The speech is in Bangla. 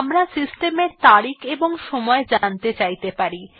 আমরা সিস্টেম এ তারিখ এবং সময় জানতে চাইতে পারি